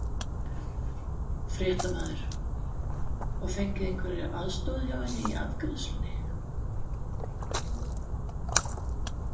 Fréttamaður: Og fengið einhverja aðstoð hjá henni í afgreiðslunni?